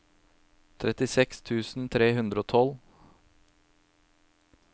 trettiseks tusen tre hundre og tolv